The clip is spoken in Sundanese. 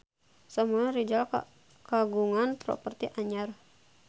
Samuel Rizal kagungan properti anyar